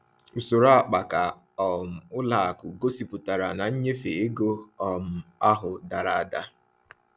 Usoro akpaka um ụlọ akụ gosipụtara na nnyefe ego um ahụ dara ada.